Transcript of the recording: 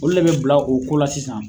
Olu de be bila o ko la sisan